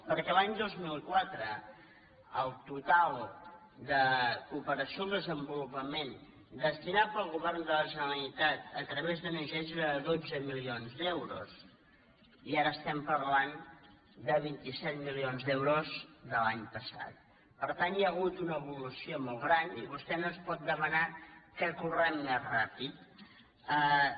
perquè l’any dos mil quatre el total de cooperació al desenvolupament destinat pel govern de la generalitat a través d’ong era de dotze milions d’euros i ara estem parlant de vint set milions d’euros de l’any passat per tant hi ha hagut una evolució molt gran i vostè no ens pot demanar que correm més ràpidament